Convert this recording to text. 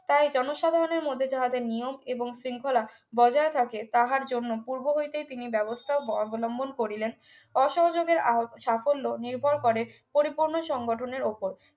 তাই জনসাধারণের মধ্যে যাহাদের নিয়ম এবং শৃঙ্খলা বজায় থাকে তাহার জন্য পূর্ব হইতে তিনি ব্যবস্থা ব অবলম্বন করিলেন অসহযোগের আহ সাফল্য নির্ভর করে পরিপূর্ণ সংগঠনের উপর